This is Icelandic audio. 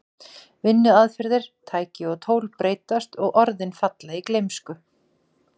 Vinnuaðferðir, tæki og tól breytast og orðin falla í gleymsku.